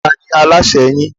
Ta ni alasẹ́ yín?